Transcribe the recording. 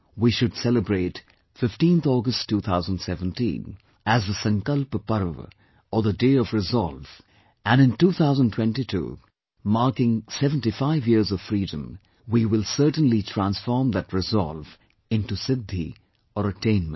We should celebrate 15th August 2017 as the Sankalp Parva or the Day of Resolve, and in 2022 marking 75 years of Freedom, we will certainly transform that resolve into 'Siddhi' or attainment